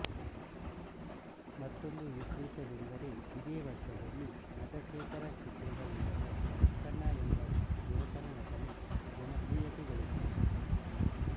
ಮತ್ತೊಂದು ವಿಶೇಷವೆಂದರೆ ಇದೇ ವರ್ಷದಲ್ಲಿ ನಟಶೇಖರ ಚಿತ್ರದ ಮೂಲಕ ಚೊಕ್ಕಣ್ಣ ಎಂಬ ಯುವಕನ ನಟನೆ ಜನಪ್ರಿಯತೆಗಳಿಸಿದ್ದು